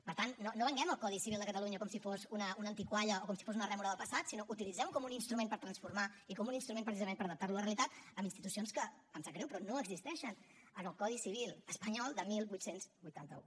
per tant no venguem el codi civil de catalunya com si fos una antigalla o com si fos una rèmora del passat sinó utilitzemho com un instrument per transformar i com un instrument precisament per adaptarlo a la realitat amb institucions que em sap greu però no existeixen en el codi civil espanyol de divuit vuitanta u